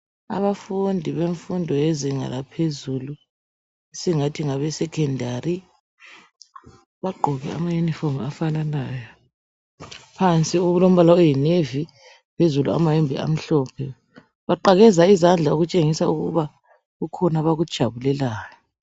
Abafundi befundo yezinga laphezulu singathi ngabesekhondari bagqoke ama yunifomu afananayo. Phansi okulompala oyi nevi phezulu amayembe amhlophe. Baqakeza izandla okutshengisela ukuthi kukhona abakujabulelayo.